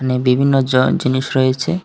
এখানে বিভিন্ন জয়েন জিনিস রয়েছে।